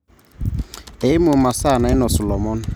Eimu masaa nainosu lomon.